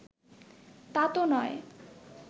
তা তো নয়